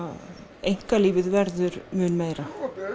einkalífið verður mun meira